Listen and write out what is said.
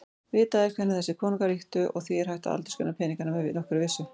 Vitað er hvenær þessir konungar ríktu og því hægt að aldursgreina peningana með nokkurri vissu.